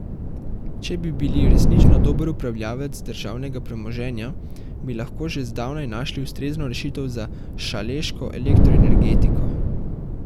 Če bi bili resnično dober upravljavec državnega premoženja, bi lahko že zdavnaj našli ustrezno rešitev za šaleško elektroenergetiko.